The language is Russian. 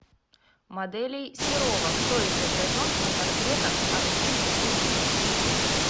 моделей серова кто изображен на портретах архив вруби